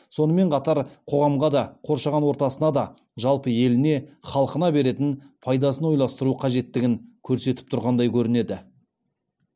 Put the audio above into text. сонымен қатар қоғамға да қоршаған ортасына да жалпы еліне халқына беретін пайдасын ойластыру қажеттілігін көрсетіп тұрғандай көрінеді